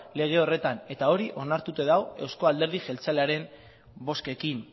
lege horretan eta hori onartuta dago eusko alderdi jeltzalearen bozkekin